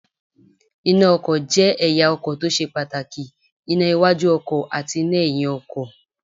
Iná ọkọ̀ jẹ́ ẹ̀ya ọkọ̀ tó ṣe pàtàkì; iná iwájú ọkọ̀ àti iná ẹ̀yin ọkọ̀.